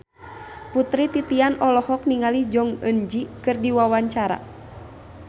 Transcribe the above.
Putri Titian olohok ningali Jong Eun Ji keur diwawancara